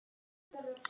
Þín systir, Hafdís.